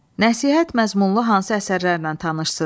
Nəsihət məzmunlu hansı əsərlərlə tanışsız?